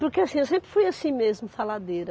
Porque assim eu sempre fui assim mesmo, faladeira.